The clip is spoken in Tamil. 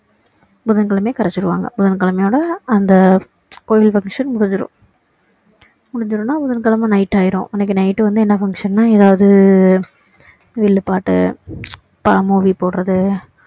புதன் கிழமையே கரைச்சிடுவாங்க புதன் கிழமையோட அந்த கோவில் function முடிஞ்சிடும் முடிஞ்சிடும்னா புதன்கிழமை night ஆகிடும் அன்னைக்கு night வந்து என்ன function னா ஏதாவது வில்லு பாட்டு movie போடுறாது